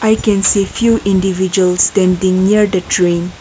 we can see few individual standing near the train.